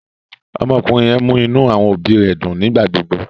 Ọmọkùnrin yẹn mú inú àwọn òbí rẹ̀ dùn nígbà gbógbó